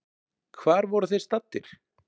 Hvar voru þeir staddir?